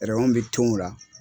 bɛ tengu o la.